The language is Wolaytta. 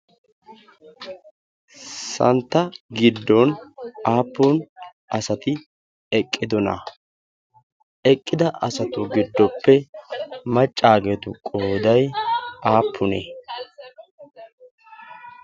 santta giddon aapun asai eqqidonaa? eqqida asatuppe macaageetu qooday woysee?